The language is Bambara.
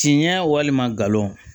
Tiɲɛ walima galon